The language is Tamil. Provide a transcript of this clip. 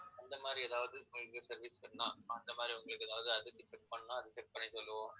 அந்த மாதிரி, ஏதாவது service பண்ணலாம். அந்த மாதிரி உங்களுக்கு ஏதாவது check பண்ணா அதுக்கு check பண்ணி சொல்லுவோம்